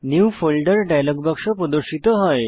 new ফোল্ডের dialogue বাক্স প্রদর্শিত হয়